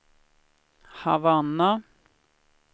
Havanna